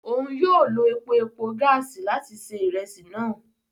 Òun yóò ló epo-epo gaasi làti se iresi náà